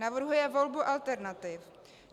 Navrhuje volbu alternativ.